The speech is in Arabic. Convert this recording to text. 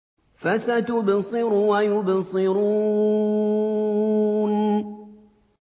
فَسَتُبْصِرُ وَيُبْصِرُونَ